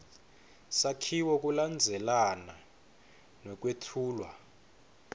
sakhiwo kulandzelana nekwetfulwa